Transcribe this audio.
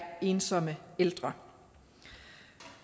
ensomme ældre